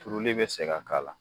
Turuli bɛ se ka k'a la